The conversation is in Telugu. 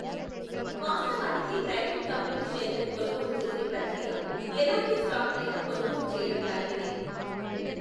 వాస్తవానికి ప్రైవేట్ కంపెనీ షేర్లను కొనుగోలు చేసే ప్రక్రియ ఎలాంటి స్టాక్నైనా కొనుగోలు చేయడం లాంటిదే.